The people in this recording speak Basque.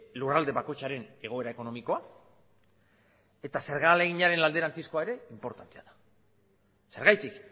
lurralde bakoitzaren egoera ekonomikoa eta zerga ahaleginaren alderantzizkoa ere inportantea da zergatik